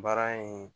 Baara in